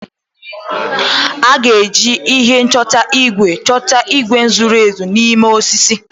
A ga-eji ihe nchọta igwe chọta igwe zoro ezo n'ime osisi.